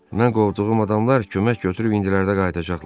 Mən qovduğum adamlar kömək götürüb indilərdə qayıdacaqlar.